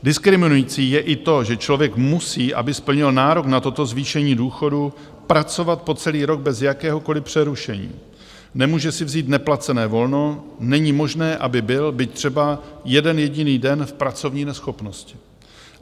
Diskriminující je i to, že člověk musí, aby splnil nárok na toto zvýšení důchodu, pracovat po celý rok bez jakéhokoliv přerušení, nemůže si vzít neplacené volno, není možné, aby byl byť třeba jeden jediný den v pracovní neschopnosti.